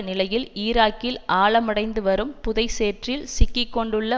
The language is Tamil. நிலையில் ஈராக்கில் ஆழமடைந்துவரும் புதை சேற்றில் சிக்கி கொண்டுள்ள